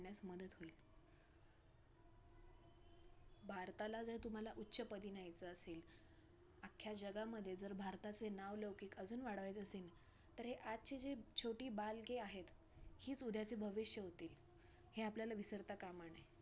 भारताला जर तुम्हाला उच्चपदी न्यायचं असेल, अख्या जगामध्ये जर भारताचे नाव लौकिक अजून वाढवायचे असेन, तर हे आजचे जे छोटी बालके आहेत, हीच उद्याच भविष्य होतील हे आपल्याला विसरता कामा नये.